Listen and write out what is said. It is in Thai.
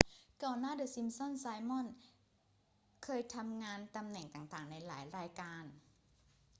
ก่อนหน้าเดอะซิมป์สันส์ ไซมอนเคยทำงานตำแหน่งต่าง ๆ ในหลายรายการ